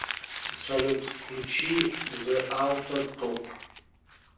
салют включи зэ ауто топ